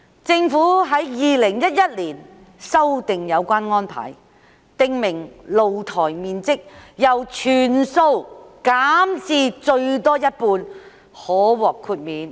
政府在2011年修訂有關安排，訂明露台面積由全數減至最多一半可獲豁免。